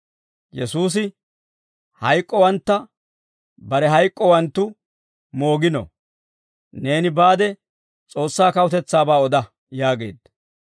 Yesuusi, «Hayk'k'owantta barenttu hayk'k'owanttu moogino; neeni baade, S'oossaa kawutetsaabaa oda» yaageedda.